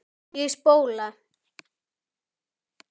Ég spóla.